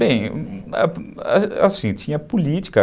Bem, assim, tinha política.